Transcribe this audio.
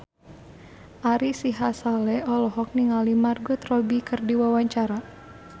Ari Sihasale olohok ningali Margot Robbie keur diwawancara